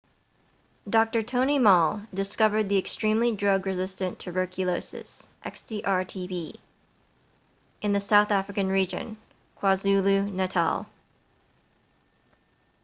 dr. tony moll discovered the extremely drug resistant tuberculosis xdr-tb in the south african region kwazulu-natal